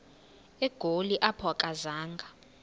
egoli apho akazanga